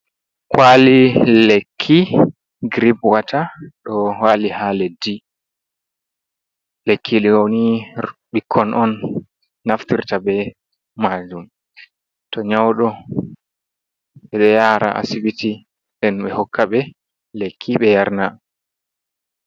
Kwali lekki girip watta do wali ha leddi. lekki dooni ɓikkon on naftirta be majum to nyaudo, be do yara asibiti ɗen be hokka be lekki be yarna.